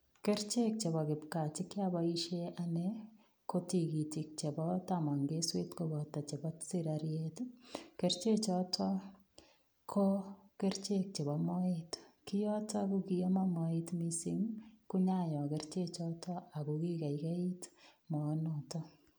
Kerichek chebo kipkaa che kiaboisien anne ko tigitik chebo tamon keswet koboto chebo sigariet ii, keriche choto ko kerichek chebo moet. Kiyoto ko kiaman moet mising, konyayo kerichek choto ago kigaigait moonoto.